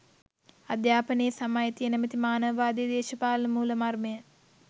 අධ්‍යාපනයේ සම අයිතිය නැමැති මානවවාදී දේශපාලන මූළමර්මය